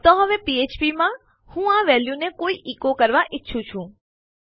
તો હવે ફ્ફ્પ માં હું આ વેલ્યુ ને ઇકો કરવા ઈચ્છું છું